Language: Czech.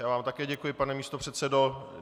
Já vám také děkuji, pane místopředsedo.